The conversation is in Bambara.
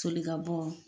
Joli ka bɔ